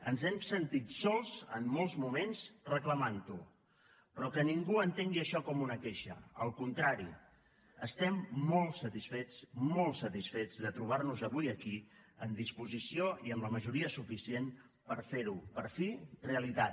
ens hem sentit sols en molts moments reclamant ho però que ningú entengui això com una queixa al contrari estem molt satisfets molt satisfets de trobar nos avui aquí en disposició i amb la majoria suficient per fer ho per fi realitat